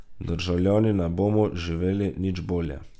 Državljani ne bomo živeli nič bolje.